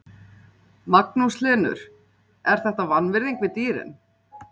Magnús Hlynur: Er þetta vanvirðing við dýrin?